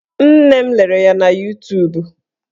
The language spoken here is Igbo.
Nne m lere ya na Yutubu